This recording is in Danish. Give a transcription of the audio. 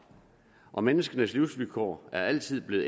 og menneskenes livsvilkår er altid blevet